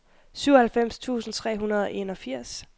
syvoghalvfems tusind tre hundrede og enogfirs